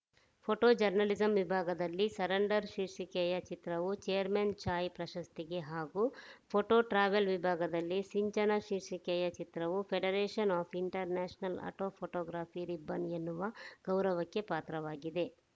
photo journalism ವಿಭಾಗದಲ್ಲಿ surrender ಶೀರ್ಷಿಕೆಯ ಚಿತ್ರವು ಚೇರ್ಮನ್‌ ಚಾಯ್‌ ಪ್ರಶಸ್ತಿಗೆ ಹಾಗೂ ಪೋಟೋ ಟ್ರಾವೆಲ್‌ ವಿಭಾಗದಲ್ಲಿ ಸಿಂಚನ ಶೀರ್ಷಿಕೆಯ ಚಿತ್ರವು federation of international art photography ribbon ಎನ್ನುವ ಗೌರವಕ್ಕೆ ಪಾತ್ರವಾಗಿದೆ